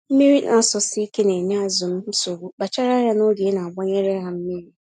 Mmírí n'asọsike nenye azụ nsogbu kpachara anya n'oge inagbanyere ha mmiri.